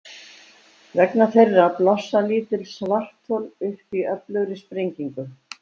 Vegna þeirra blossa lítil svarthol upp í öflugri sprengingu.